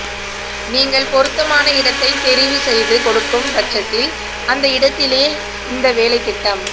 நீங்கள் பொருத்தமான இடத்தை தெரிவு செய்து கொடுக்கும் பட்சத்தில் அந்த இடத்திலே இந்த வேலைத்திட்டம்